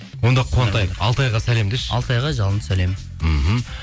онда қуантайық алтайға сәлем деші алтайға жалынды сәлем мхм